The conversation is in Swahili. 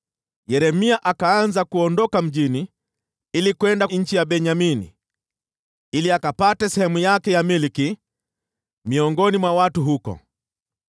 Yeremia akaanza kuondoka mjini ili kwenda nchi ya Benyamini ili akapate sehemu yake ya milki miongoni mwa watu huko.